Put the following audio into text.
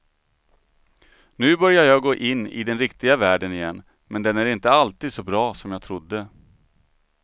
Nu börjar jag gå in i den riktiga världen igen, men den är inte alltid så bra som jag trodde.